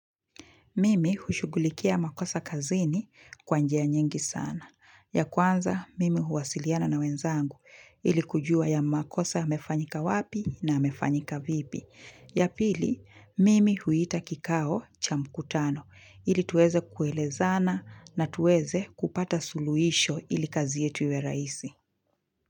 Mimi hushugulikia makosa kazini kwa njia nyingi sana. Ya kwanza, mimi huwasiliana na wenzangu ili kujua ya makosa yamefanyika wapi na yamefanyika vipi. Ya pili, mimi huita kikao cha mkutano ili tuweze kuelezana na tuweze kupata suluhisho ili kazi yetu iwe rahisi.